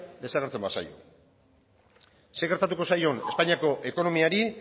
desagertzen bazaio zer gertatuko zaion espainiako ekonomikoari